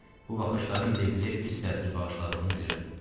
Bu baxışların Leqriyə pis təsir bağışladığını bilirdi.